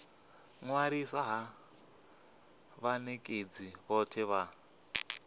ṅwaliswa ha vhanekedzi vhothe vha